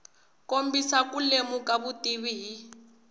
kombisa ku lemuka vutivi hi